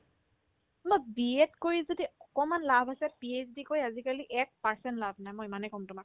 মই BED কৰি যদি অকনমান লাভ আছে PhD কৰি আজিকালি এক percent লাভ নাই মই ইমানে কম তোমাক